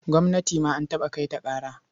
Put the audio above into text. Gwamnati ma an taɓa kai ta ƙara.